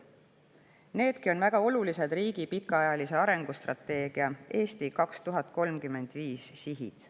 Needki on väga olulised riigi pikaajalise arengustrateegia "Eesti 2035" sihid.